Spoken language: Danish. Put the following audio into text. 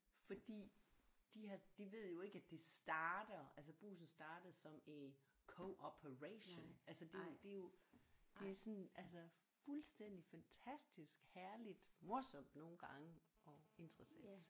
Fordi de har de ved jo ikke at det starter altså Brugsen startede som en cooperation altså det er jo det er jo det er sådan altså fuldstændig fantastisk herligt morsomt nogle gange og interessant